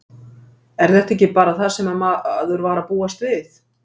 Er þetta ekki bara það sem maður var að búast við?